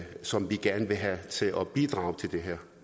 som vi gerne vil have til at bidrage til det her